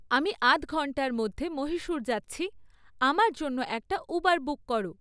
আমি আধ ঘন্টার মধ্যে মহিসূর যাচ্ছি আমার জন্য একটা উবার বুক করো